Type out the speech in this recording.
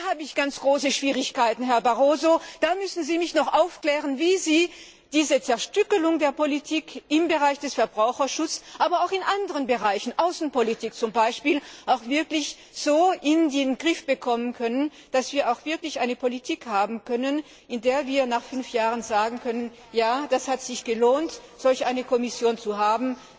Da habe ich ganz große Schwierigkeiten, Herr Barroso, da müssen Sie mich noch aufklären, wie Sie diese Zerstückelung der Politik im Bereich des Verbraucherschutzes, aber auch in anderen Bereichen, zum Beispiel der Außenpolitik, wirklich so in den Griff bekommen können, dass wir eine Politik haben, bei der wir nach fünf Jahren sagen können, ja, es hat sich gelohnt, solch eine Kommission zu haben.